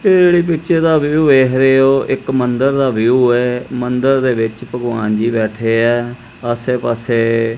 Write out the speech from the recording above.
ਤੇ ਇਹਦੇ ਪਿੱਛੇ ਦਾ ਵਿਊ ਵੇਖ ਰਹੇ ਹੋ ਇੱਕ ਮੰਦਿਰ ਦਾ ਵਿਊ ਹੈ ਮੰਦਿਰ ਦੇ ਵਿੱਚ ਭਗਵਾਨ ਜੀ ਬੈਠੇ ਹੈਂ ਆਸੇ ਪਾਸੇ ਪਾੱਸੇ--